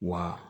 Wa